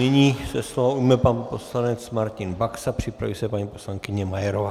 Nyní se slova ujme pan poslanec Martin Baxa, připraví se paní poslankyně Majerová.